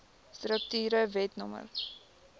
strukture wet no